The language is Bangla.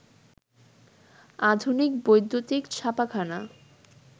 আধুনিক বৈদ্যুতিক ছাপাখানা